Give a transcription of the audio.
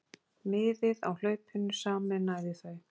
Miðið á hlaupinu sameinaði þau.